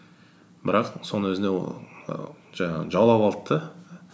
бірақ соның өзінде ол ііі жаңағы жаулап алды да